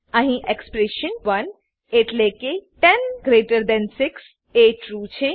અહી એક્સપ્રેશન 1 એટલેકે 106 એ ટ્રૂ છે